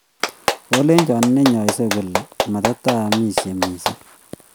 Kolecho ne nyaisei kole mata amishe mising